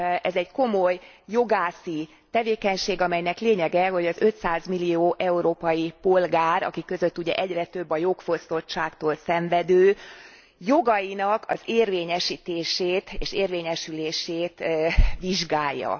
Ez egy komoly jogászi tevékenység, amelynek lényege, hogy az 500 millió európai polgár akik között ugye egyre több a jogfosztottságtól szenvedő jogainak az érvényesítését és érvényesülését vizsgálja.